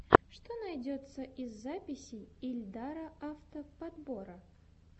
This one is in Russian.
что найдется из записей ильдара авто подбора